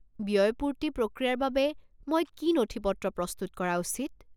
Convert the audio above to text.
ব্য়য়পূৰ্তি প্ৰক্ৰিয়াৰ বাবে, মই কি নথিপত্ৰ প্ৰস্তুত কৰা উচিত?